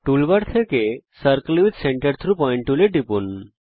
toolbar থেকে the circle with center through point টুলে টিপুন